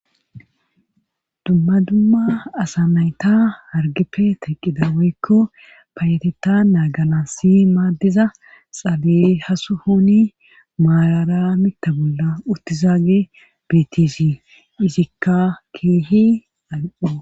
dumma dumma asa nayta hargeppe taqqida woykko payatetta naagala si maaddiza xaale hasuhoni maalara mitta bolla uttizaage betesi izikka keehi al7o